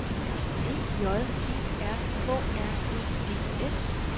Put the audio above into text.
E J E R K R E D S